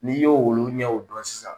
N'i ye olu ɲɛw dɔn sisan.